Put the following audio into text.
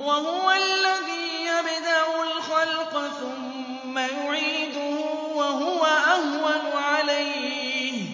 وَهُوَ الَّذِي يَبْدَأُ الْخَلْقَ ثُمَّ يُعِيدُهُ وَهُوَ أَهْوَنُ عَلَيْهِ ۚ